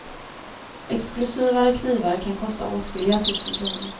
Exklusivare knivar kan kosta åtskilliga tusen kronor.